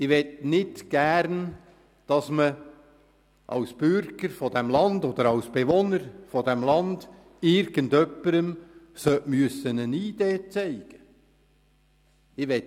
Ich möchte nicht gerne, dass man als Bürger oder Bewohner dieses Landes irgendjemandem eine Identitätskarte zeigen muss.